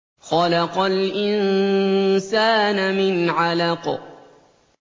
خَلَقَ الْإِنسَانَ مِنْ عَلَقٍ